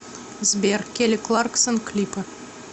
сбер кели кларксон клипы